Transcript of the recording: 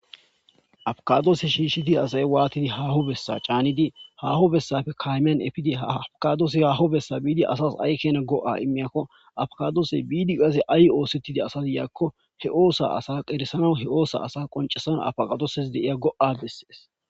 Abakadoose shiishshidi asay waatidi haaho bessa caanidi haho bessafe kaymean efidi hafaqadoose haho bessa biidi asas aykena go'a immiyakko afaqadoose biidi qase ay oosetidi asazi yaakko he oosa asa qeressana he oosa asa qoncesana afaqadooses deiya go'a dessees